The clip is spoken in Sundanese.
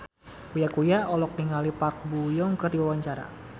Uya Kuya olohok ningali Park Bo Yung keur diwawancara